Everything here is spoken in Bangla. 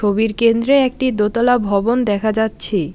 ছবির কেন্দ্রে একটি দোতলা ভবন দেখা যাচ্ছে।